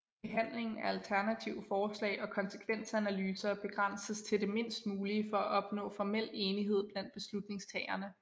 Behandlingen af alternative forslag og konsekvensanalyser begrænses til det mindst mulige for at opnå formel enighed blandt beslutningstagerne